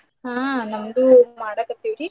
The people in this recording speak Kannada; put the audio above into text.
ಹಾ ನಮ್ದು ಮಾಡಾಕತ್ತೀವ್ರಿ.